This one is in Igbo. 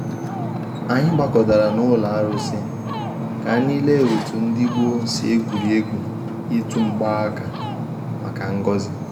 Anyị gbakọtara n’ụlọ arụ sị ka anyị lelee otu ndị gboo si egwuri egwu ịtụ mgbaaka, maka ngọzi.